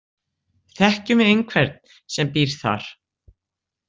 Þekkjum við einhvern sem býr þar?